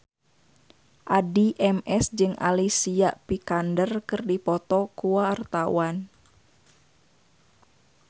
Addie MS jeung Alicia Vikander keur dipoto ku wartawan